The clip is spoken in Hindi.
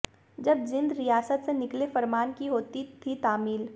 जब जींद रियासत से निकले फरमान की होती थी तामील